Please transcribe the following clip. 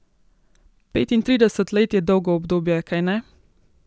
Petintrideset let je dolgo obdobje, kajne?